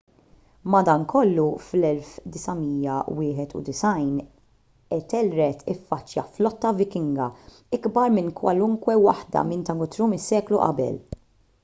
madankollu fid-991 ethelred iffaċċja flotta vikinga ikbar minn kwalunkwe waħda minn ta' guthrum is-seklu qabel